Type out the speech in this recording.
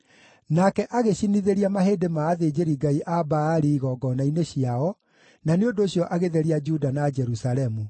Nake agĩcinithĩria mahĩndĩ ma athĩnjĩri-ngai a Baali igongona-inĩ ciao, na nĩ ũndũ ũcio agĩtheria Juda na Jerusalemu.